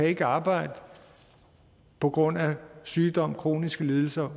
ikke kan arbejde på grund af sygdom kroniske lidelser